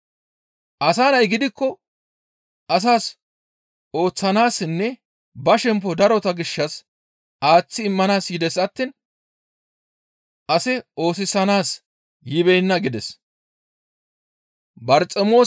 Asa Nay gidikko asas ooththanaassinne ba shempo darota gishshas aaththi immanaas yides attiin ase oosisanaas yibeenna» gides.